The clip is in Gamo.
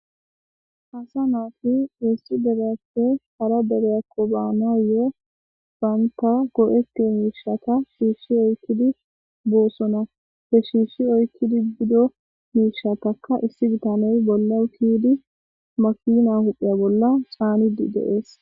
Assa naati issi derappe hara dereya baanayoo banta go'etiyo miishshatta shiishshi oyqqidi boosona he shiishshi oykkidi biddo miishatakka issi bitaney bolla ke'idi makina huphpheya bolla caanidi de'ees